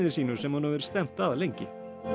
sínu sem hún hefur stefnt að lengi